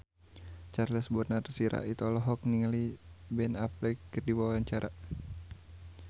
Charles Bonar Sirait olohok ningali Ben Affleck keur diwawancara